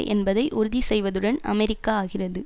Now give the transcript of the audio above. என்பதை உறுதி செய்வதுடன் அமெரிக்கா ஆகிறது